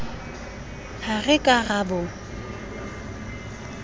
ha re ka ra bo